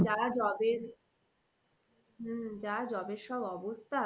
যারা job এর হম যা job এর সব অবস্থা